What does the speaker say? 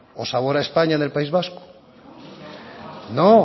o sabor a españa en el país vasco no